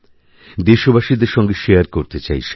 দেশবাসীদের সঙ্গে শেয়ারকরতে চাই সেটা